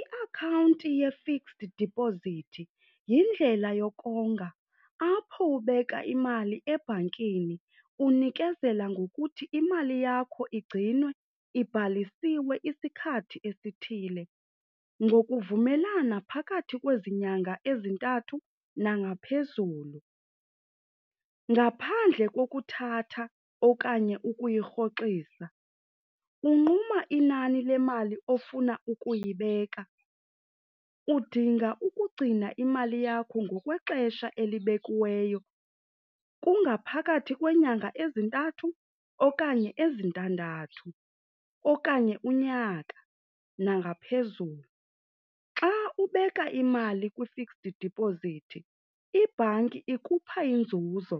Iakhawunti ye-fixed deposit yindlela yokonga apho ubeka imali ebhankini unikezela ngokuthi imali yakho igcinwe ibhalisiwe isikhathi esithile ngokuvumelana phakathi kwezi nyanga ezintathu nangaphezulu. Ngaphandle kokuthatha okanye ukuyirhoxisa, unquma inani lemali ofuna ukuyibeka. Udinga ukugcina imali yakho ngokwexesha elibekiweyo, kungaphakathi kweenyanga ezintathu okanye ezintandathu okanye unyaka nangaphezulu. Xa ubeka imali kwi-fixed deposit, ibhanki ikupha inzuzo